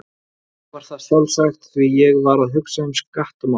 Ég var það sjálfsagt, því ég var að hugsa um skattamál.